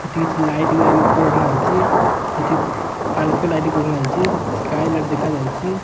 ସେଠି କିଛି ଲାଇଟ୍ ଗୁରା ବି ଉପରେ ଓହୋଳା ହେଇଚି। ସେଠି ପାଲ୍କୋ ଲାଇଟ୍ ବି ଓହୋଳା ହେଇଚି। ସ୍କାଏ ଲାଇଟ୍ ଦେଖାଯାଉଚି।